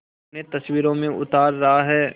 उन्हें तस्वीरों में उतार रहा है